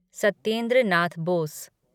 Satyendra Nath Bose